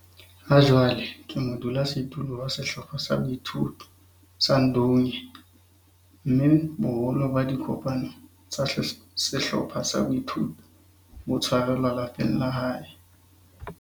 Hajwale ke modulasetulo wa Sehlopha sa Boithuto sa Ndunge, mme boholo ba dikopano tsa sehlopha sa boithuto bo tshwarelwa lapeng la hae.